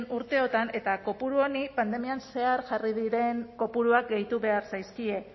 urteotan eta kopuru honi pandemian zehar jarri diren kopuruak gehitu behar zaizkie